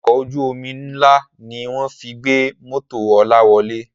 Ọkọ̀ ojú omi ń lá ni wọ́n fi gbé mọ́tò Ọlá wọ̀lú